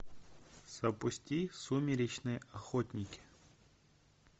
запусти сумеречные охотники